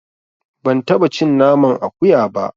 Ban taɓa cin naman akuya ba.